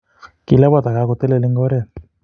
Kilabat a kakotelel eng oret